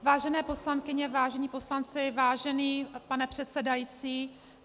Vážené poslankyně, vážení poslanci, vážený pane předsedající.